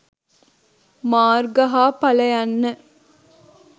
මාර්ග හා ඵල යන්න